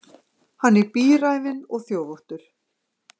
Hann er bíræfinn og þjófóttur.